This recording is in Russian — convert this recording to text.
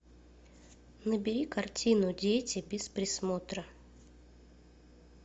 набери картину дети без присмотра